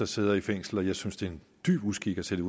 sidder i fængsel og jeg synes det er en dyb uskik at sætte